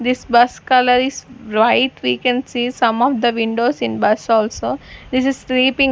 this bus color is white we can see some of the windows in bus also this is sleeping--